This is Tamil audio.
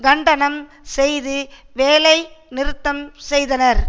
கண்டனம் செய்து வேலை நிறுத்தம் செய்தனர்